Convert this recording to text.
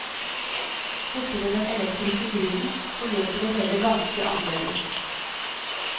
Borte ved den elektriske grillen forløper det hele ganske annerledes.